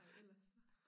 Ja ellers